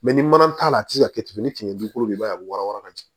Mɛ ni mana t'a la a tɛ se ka kɛ tugunni k'i bolo i b'a ye a bɛ wɔɔrɔ ka jigin